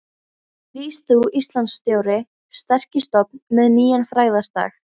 Rís þú, Íslands stóri, sterki stofn með nýjan frægðardag.